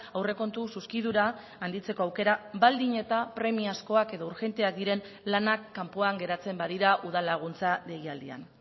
aurrekontu zuzkidura handitzeko aukera baldin eta premiazkoak edo urgenteak diren lanak kanpoan geratzen badira udal laguntza deialdian